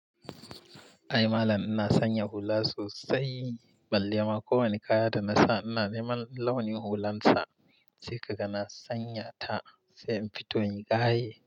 Ai malam ina sanya hula sosai, balle ma kowane kaya da nasa ina neman launin hulansa, sai ka ga na sanya ta sai in fito in yi gaye.